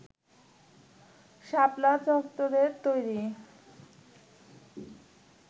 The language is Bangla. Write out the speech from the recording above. শাপলা চত্বরে তৈরি